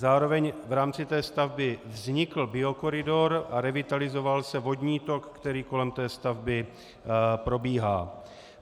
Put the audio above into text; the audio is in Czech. Zároveň v rámci té stavby vznikl biokoridor a revitalizoval se vodní tok, který kolem té stavby probíhá.